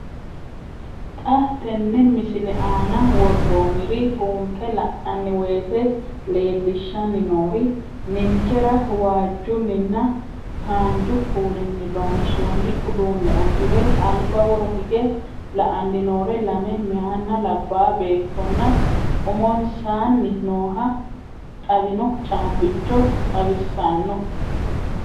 Xa tenne missile aana worroonniri buunxe la'nanni woyiite leellishshanni noori ninkera waajjunninna haanju kuulinni loonsoonni uduunne uddire alba woro higge la''anni noore lame meyaanna labbaa beettonna umonsaanni nooha xawinno caabbicho xawissanno.